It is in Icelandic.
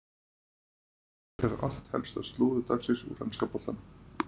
Hér er allt helsta slúður dagsins úr enska boltanum.